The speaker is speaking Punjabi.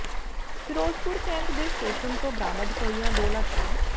ਫਿਰੋਜ਼ਪੁਰ ਕੈਂਟ ਦੇ ਸਟੇਸ਼ਨ ਤੋਂ ਬਰਾਮਦ ਹੋਈਆਂ ਦੋ ਲਾਸ਼ਾਂ